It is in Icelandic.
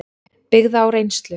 byggða á reynslu.